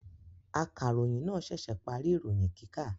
Akaròyìn náà ṣẹ̀ṣẹ̀ parí ìròyìn kíkà.